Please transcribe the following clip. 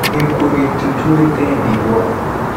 gĩkuo gĩtũtwĩte ndigwa.